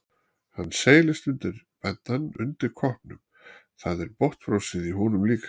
Hann seilist undir beddann eftir koppnum, það er botnfrosið í honum líka.